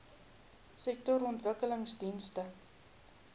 sektorontwikkelingdienste